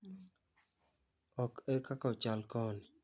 Ok ekaka ochal koni.